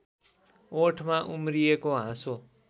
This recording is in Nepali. ओठमा उम्रिएको हाँसो